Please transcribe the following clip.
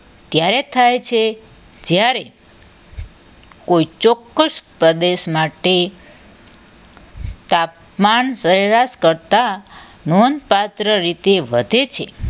ત્યારે થાય છે જ્યારે કોઈ ચોક્કસ પ્રદેશ માટે તાપમાન સરેરાશ કરતા નોંધપાત્ર રીતે વધે છે